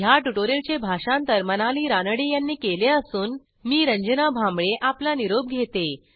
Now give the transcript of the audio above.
ह्या ट्युटोरियलचे भाषांतर मनाली रानडे यांनी केले असून मी आपला निरोप घेते